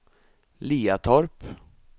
Liatorp